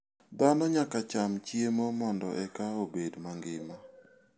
Dhano nyaka cham chiemo mondo eka obed mangima.